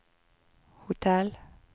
hotell